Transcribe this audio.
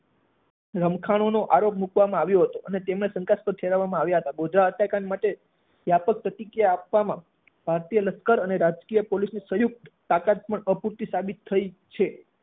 રમખાણો નો આરોપ મૂકવામાં આવ્યો હતો અને તેમને શંકાસ્પદ ઠેરવવામાં આવ્યા હતા. ગોધરા હત્યાકાંડ માટે વ્યાપક પ્રતિક્રિયા આપવામાં, ભારતીય લશ્કર અને રાજ્ય પોલીસની સંયુક્ત તાકાત પણ અપૂરતી સાબિત થઇ છે